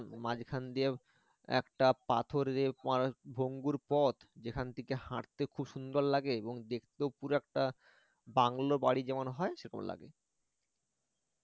মাঝখান দিয়ে একটা পাথর ভঙ্গুর পথ যেখান থেকে হাঁটতে খুব সুন্দর লাগে এবং দেখতেও পুরো একটা বাংলো বাড়ি যেরকম হয় সেরকম লাগে